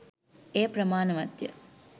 එය ප්‍රමාණවත්ය.